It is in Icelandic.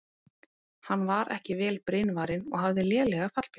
Hann var ekki vel brynvarinn og hafði lélega fallbyssu.